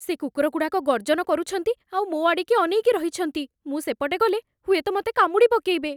ସେ କୁକୁରଗୁଡ଼ାକ ଗର୍ଜନ କରୁଛନ୍ତି ଆଉ ମୋ ଆଡ଼ିକି ଅନେଇକି ରହିଛନ୍ତି । ମୁଁ ସେପଟେ ଗଲେ, ହୁଏତ ମତେ କାମୁଡ଼ିପକେଇବେ ।